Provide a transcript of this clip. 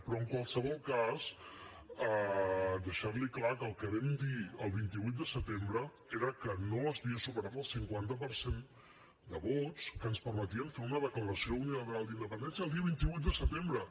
però en qualsevol cas deixar li clar que el que vam dir el vint vuit de setembre era que no s’havia superat el cinquanta per cent de vots que ens permetien fer una declaració unilateral d’independència el dia vint vuit de setembre